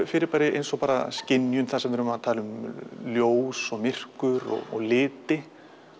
fyrirbæri eins og skynjun þar sem við erum að tala um ljós og myrkur og liti